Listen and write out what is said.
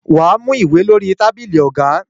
Wà á mú ìwé lórí tábìlì ọ̀gá.